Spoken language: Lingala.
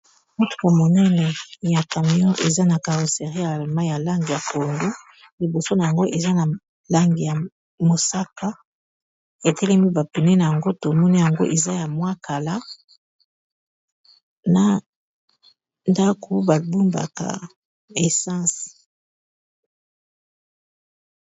motuko monene ya camion eza na caroseri mai ya lange ya pondu liboso na yango eza na lange ya mosaka etelemi bapine nayango tomoni yango eza ya mwa kala na ndako bombaka essense